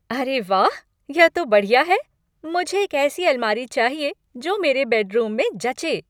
अरे वाह, यह तो बढ़िया है! मुझे एक ऐसी अलमारी चाहिए जो मेरे बेडरूम जचें।